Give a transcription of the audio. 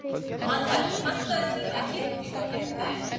Manuel, pantaðu tíma í klippingu á fimmtudaginn.